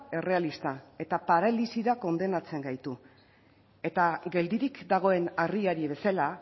errealista eta paralisira kondenatzen gaitu eta geldirik dagoen harriari bezala